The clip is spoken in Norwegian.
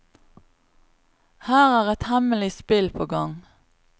Her er et hemmelig spill på gang.